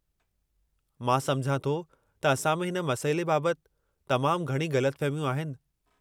मां समुझां थो त असां में हिन मसइले बाबति तमामु घणी ग़लतफ़हमियूं आहिनि।